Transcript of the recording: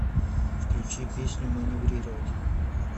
включи песню маневрировать